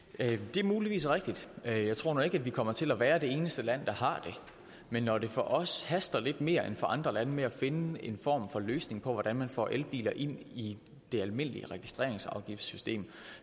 det er muligvis rigtigt jeg tror nu ikke at vi kommer til at være det eneste land der har det men når det for os haster lidt mere end for andre lande med at finde en form for løsning på hvordan man får elbiler ind i det almindelige registreringsafgiftssystem